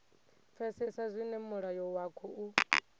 pfesesa zwine mulayo wa khou